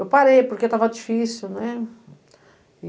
Eu parei, porque estava difícil, né?